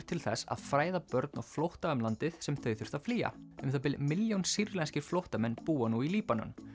til þess að fræða börn á flótta um landið sem þau þurftu að flýja um það bil milljón sýrlenskir flóttamenn búa nú í Líbanon